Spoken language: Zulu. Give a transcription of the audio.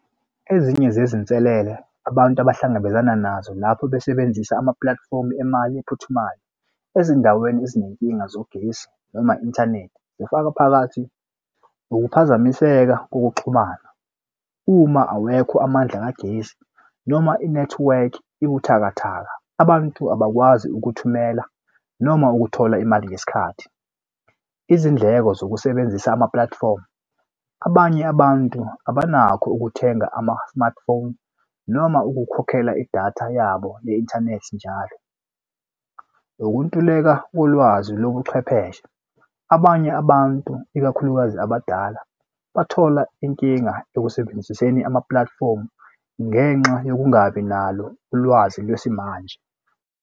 Ezinye zezinselele abantu abahlangabezana nazo lapho besebenzisa ama-platform emali ephuthumayo ezindaweni ezinenkinga zogesi noma inthanethi zifaka phakathi ukuphazamiseka kokuxhumana uma awekho amandla kagesi noma i-network ebuthakathaka. Abantu abakwazi ukuthumela noma ukuthola imali ngesikhathi. Izindleko zokusebenzisa ama-platform abanye abantu abanakho ukuthenga ama-smartphone noma ukukhokhela idatha yabo ye-inthanethi njalo. Ukuntuleka kolwazi lobuchwepheshe abanye abantu ikakhulukazi abadala bathola inkinga ekusebenziseni ama-platform ngenxa yokungabi nalo ulwazi lwesimanje.